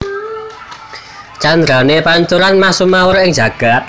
Candrané Pancuran mas sumawur ing jagad